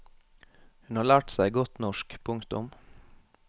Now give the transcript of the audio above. Hun har lært seg godt norsk. punktum